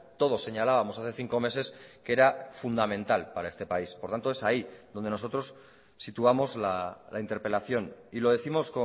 todos señalábamos hace cinco meses que era fundamental para este país por tanto es ahí donde nosotros situamos la interpelación y lo décimos